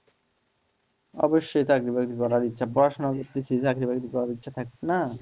অবশ্যই চাকরি-বাকরি করার ইচ্ছে পড়াশোনা করতেছি চাকরি বাকরি করার ইচ্ছা থাকবে না?